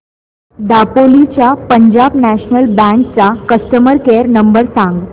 दापोली च्या Punjab national bank चा customer care number सांग